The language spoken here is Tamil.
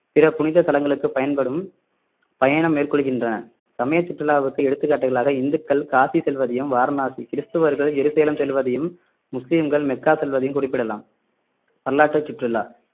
பிற புனித தலங்களுக்கு பயன்படும் பயணம் மேற்கொள்கின்றனர் சமய சுற்றுலாவுக்கு எடுத்துக்காட்டுகளாக இந்துக்கள் காசி செல்வதையும் வாரணாசி கிறிஸ்தவர்கள் ஜெருசலேம் செல்வதையும் முஸ்லிம்கள் மெக்கா செல்வதையும் குறிப்பிடலாம் வரலாற்று சுற்றுலா